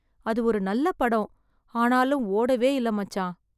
அது ஒரு நல்ல படம். ஆனாலும் ஓடவே இல்ல மச்சான்.